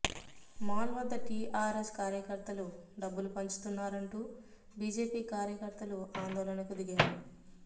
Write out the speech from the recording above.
mall వద్ద టీఆర్ఎస్ కార్యకర్తలు డబ్బులు పంచుతున్నారంటూ బీజేపీ కార్యకర్తలు ఆందోళనకు దిగారు